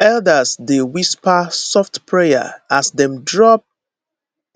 elders dey whisper soft prayer as dem drop